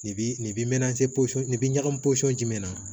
Nin bi mɛn se pose ni ɲagamin posɔn jumɛn na